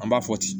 An b'a fɔ ten